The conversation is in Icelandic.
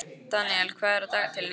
Daniel, hvað er á dagatalinu í dag?